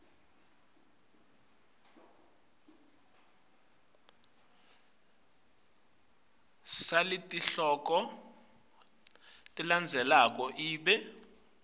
saletihloko letilandzelako ibe